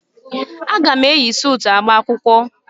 A ga m eyi suutu agba akwụkwọ.